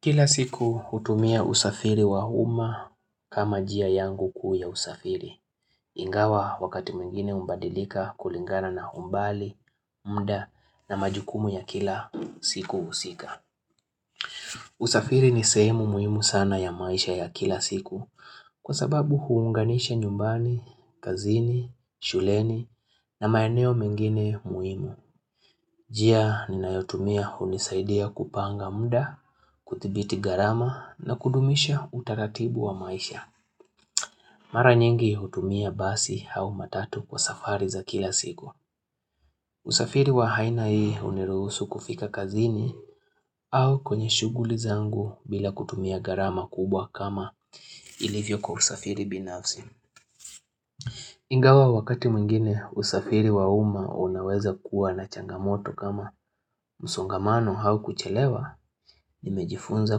Kila siku hutumia usafiri wa umma kama njia yangu kuu ya usafiri. Ingawa wakati mwingine hubadilika kulingana na umbali, muda na majukumu ya kila siku husika. Usafiri ni sehemu muhimu sana ya maisha ya kila siku kwa sababu huunganisha nyumbani, kazini, shuleni na maeneo mengine muhimu. Njia ninayotumia hunisaidia kupanga muda, kuthibiti ghalama na kudumisha utaratibu wa maisha. Mara nyingi hutumia basi au matatu kwa safari za kila siku. Usafiri wa aina hii huniruhusu kufika kazini au kwenye shughuli zangu bila kutumia gharama kubwa kama ilivyo kwa usafiri binafsi. Ingawa wakati mwingine usafiri wa umma unaweza kuwa na changamoto kama msongamano au kuchelewa nimejifunza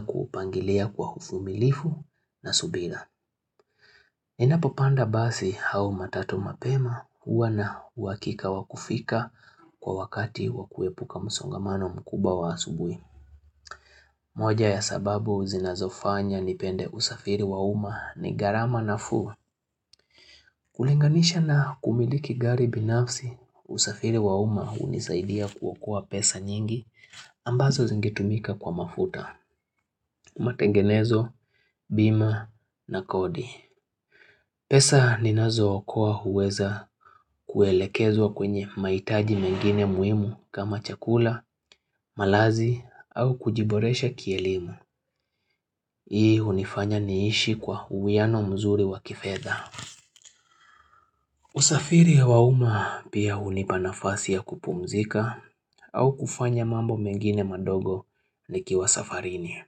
kuupangilia kwa uvumilivu na subira. Ninapopanda basi au matatu mapema huwa na uhakika wa kufika kwa wakati wa kuepuka msongamano mkuba wa asubui. Moja ya sababu zinazofanya nipende usafiri wa umma ni ghalama nafuu. Kulinganisha na kumiliki gari binafsi, usafiri wa umma hunisaidia kuoakoa pesa nyingi ambazo zingetumika kwa mafuta, matengenezo, bima na kodi. Pesa ninazo okoa huweza kuelekezwa kwenye mahitaji mengine muhimu kama chakula, malazi au kujiboresha kielimu. Hii hunifanya niishi kwa uwiano mzuri wakifedha. Usafiri ya wa umma pia hunipa nafasi ya kupumzika au kufanya mambo mengine madogo nikiwa safarini.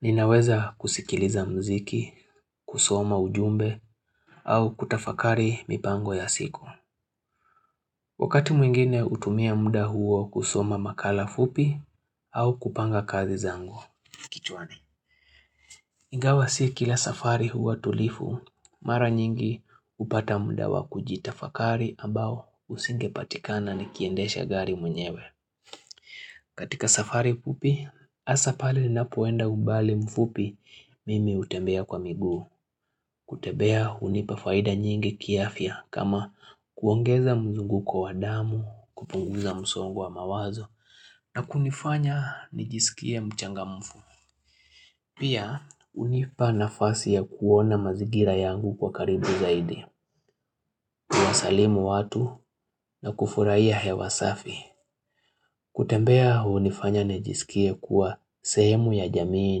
Ninaweza kusikiliza mziki, kusoma ujumbe au kutafakari mipango ya siku. Wakati mwingine hutumia muda huo kusoma makala fupi au kupanga kazi zangu. Ingawa si kila safari huwa tulivu, mara nyingi hupata muda wa kujitafakari ambao usingepatikana ni kiendesha gari mwenyewe katika safari fupi, hasa pale ninapoenda umbali mfupi mimi hutembea kwa miguu kutembea hunipa faida nyingi kiafiy kama kuongeza mzunguko wa damu, kupunguza msongo wa mawazo na kunifanya nijisikie mchangamfu Pia hunipa nafasi ya kuona mazingira yangu kwa karibu zaidi Kuwasalimu watu na kufurahia hewa safi kutembea hunifanya nijisikie kuwa sehemu ya jamii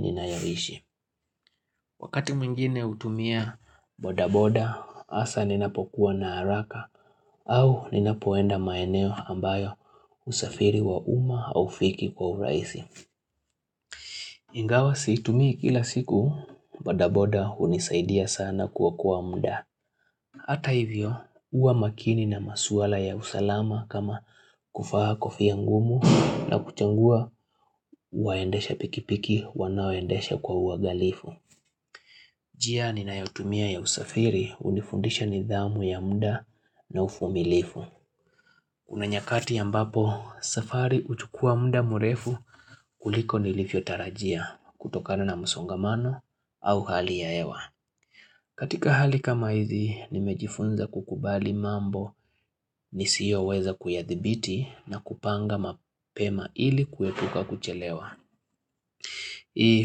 ninayoishi Wakati mwingine hutumia bodaboda hasa ninapokuwa na haraka au ninapoenda maeneo ambayo usafiri wa umma haufiki kwa urahisi Ingawa siitumii kila siku badaboda hunisaidia sana kuokoa muda Hata hivyo huwa makini na maswala ya usalama kama kuvaa kofi ya ngumu na kuchagua waendesha pikipiki wanaoendesha kwa uangalifu njia ninayotumia ya usafiri hunifundisha nidhamu ya muda na uvumilivu Kuna nyakati ambapo safari huchukua muda mrefu kuliko nilivyotarajia. Kutokana na msongamano au hali ya hewa. Katika hali kama hizi nimejifunza kukubali mambo Nisiyoweza kuyadhibiti na kupanga mapema ili kuepuka kuchelewa Hii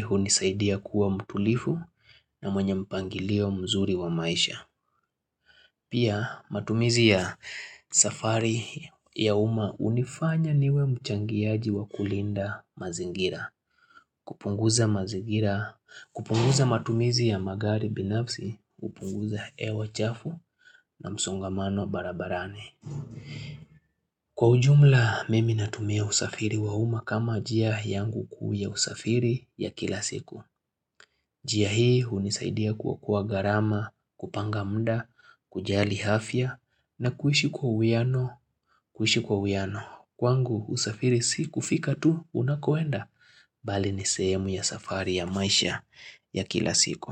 hunisaidia kuwa mtulivu na mwenye mpangilio mzuri wa maisha Pia matumizi ya safari ya umma hunifanya niwe mchangiaji wa kulinda mazingira kupunguza mazingira, kupunguza matumizi ya magari binafsi, hupunguza hewa chafu na msongamano barabarani. Kwa ujumla, mimi natumia usafiri wa umma kama njia yangu kuu ya usafiri ya kila siku. Njia hii hunisaidia kuokoa ghalama, kupanga muda, kujali afya na kuishi kwa uwiano, kuishi kwa uwiano. Kwangu usafiri si kufika tu unakoenda bali nisehemu ya safari ya maisha ya kila siku.